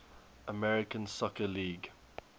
american soccer league